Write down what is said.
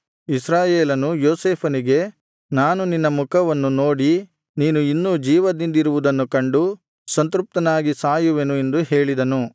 ಇಸ್ರಾಯೇಲನು ಯೋಸೇಫನಿಗೆ ನಾನು ನಿನ್ನ ಮುಖವನ್ನು ನೋಡಿ ನೀನು ಇನ್ನೂ ಜೀವದಿಂದಿರುವುದನ್ನು ಕಂಡು ಸಂತೃಪ್ತನಾಗಿ ಸಾಯುವೆನು ಎಂದು ಹೇಳಿದನು